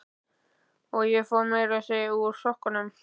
Og ég fór meira að segja úr sokkunum.